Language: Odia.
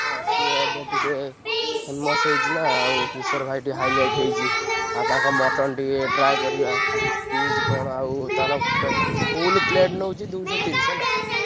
ହଁ ସିଏ ଏବେ ଟିକେ noise famous ହେଇଛି ନା ଆଉ କିଶୋର ଭାଇ ଟିକେ highlight ହେଇଛି। ଆଉ ତାଙ୍କ mutton ଟିକେ try କରିବା। noise କିମିତି କଣ ଆଉ ତାର ପେ full plate ନଉଚି ଦୁଇଶ ତିରିଶି ହେଲା। noise